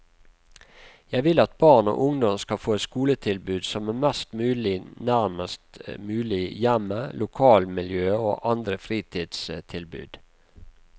Jeg vil at barn og ungdom skal få et skoletilbud som er best mulig nærmest mulig hjemmet, lokalmiljøet og andre fritidstilbud.